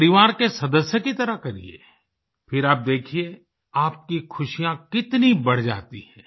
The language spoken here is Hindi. परिवार के सदस्य की तरह करिये फिर आप देखिये आपकी खुशियाँ कितनी बढ़ जाती हैं